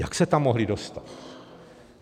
Jak se tam mohly dostat?